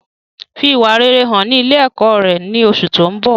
Fi ìwà rere hàn ní ilé ẹ̀kọ́ rẹ ní oṣù tó ń bọ̀